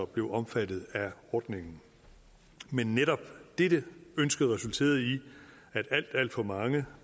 blev omfattet af ordningen men netop dette ønske resulterede i at alt alt for mange